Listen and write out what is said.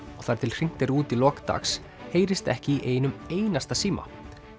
og þar til hringt er út í lok dags heyrist ekki í einum einasta síma